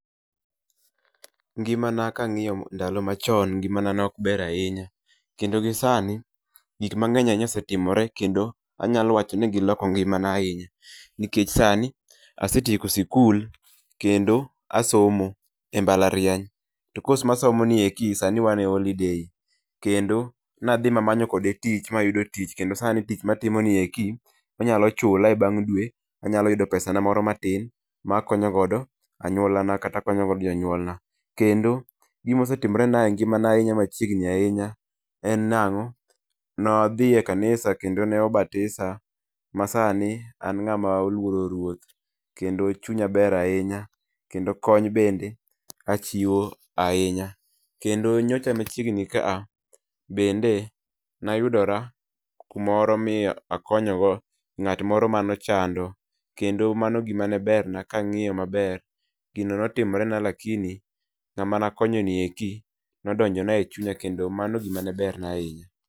Ngimana kang'io ndalo machon ngima na ne ok ber ahinya kando gi sani gik mag'eny ahinya osetimore kendo anyalo wacho ni giloko mgimana ahinya, nikech sani asetieko sikul kendo asomo e mbalariany to kos masomonieki sani wan e holiday kendo nadhi mamanyo kode tich mayudo tich kendo sani tich matimo ni eki onyalo chula e bang' dwe anyalo yudo pesa na moro matin makonyo godo anyula na kata makonyo go jonyuola na kata akonyo go jonyuol na kendo gimosetimre na e ngi'ma na machiegni ahinya en nango? Ne wadhi e kanisa kendo ne obatisama sani an ng'ama oluoro ruoth kendo chunya ber ahinya kendo kony bende achiwo ahinya kendo nyocha machiegni ka a bende nayudora kumoro mi akonyogo ng'at moro ma nochando kendo mano gima ne ber na kang'iyo maber gino nitimre na lakini ng'ama nakonyo ni eki nodonjo na e chunya kendo mano ne ber na ahinya.